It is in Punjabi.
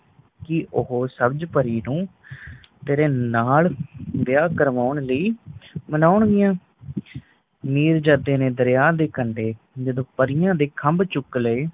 ਕਿ ਓਹੋ ਸਬਜ ਪਰੀ ਨੂੰ ਤੇਰੇ ਨਾਲ ਵਿਹਾ ਕਰਵਾਣ ਲਈ ਮਨਾਉਂਗੀਆਂ ਮਿਰਜਾਦੇ ਨੇ ਦਰਿਆ ਦੇ ਕਡ਼ੇ ਜਦੋ ਪਰੀਆਂ ਦੇ ਖੱਬ ਚੁੱਕ ਲਏ